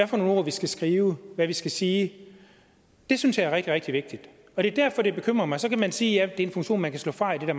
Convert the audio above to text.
for nogle ord vi skal skrive hvad vi skal sige det synes jeg er rigtig rigtig vigtigt og det er derfor det bekymrer mig så kan man sige at det er en funktion man kan slå fra i det der